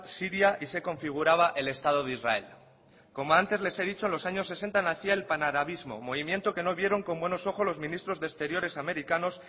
siria y se configuraba el estado de israel como antes les he dicho en los años sesenta nacía el panarabismo movimiento que no vieron con buenos ojos los ministros de exteriores americanos